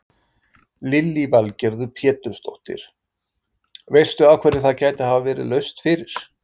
Lillý Valgerður Pétursdóttir: Veistu af hverju það gæti hafa verið laust fyrir?